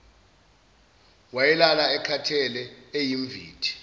wayelala ekhathele eyimvithi